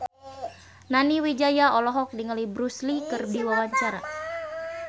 Nani Wijaya olohok ningali Bruce Lee keur diwawancara